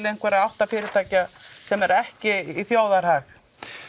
einhverra átta fyrirtækja sem er ekki í þjóðarhag